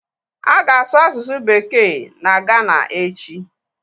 A ga-asụ asụsụ bekee na Gana echi